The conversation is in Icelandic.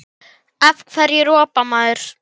Ég vil halda áfram.